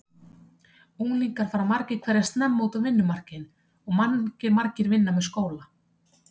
Unglingar fara margir hverjir snemma út á vinnumarkaðinn og margir vinna með skóla.